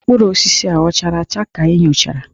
Mkpụrụ osisi a chara acha ka ị nyochara?